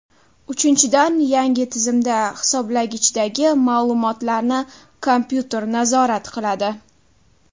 Uchinchidan, yangi tizimda hisoblagichdagi ma’lumotlarni kompyuter nazorat qiladi.